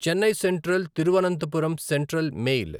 Chennai central Thiruvananthapuram central mail